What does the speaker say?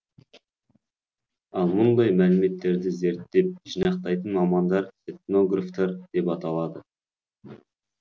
ал мұндай мәліметтерді зерттеп жинақтайтын мамандар этнографтар деп аталады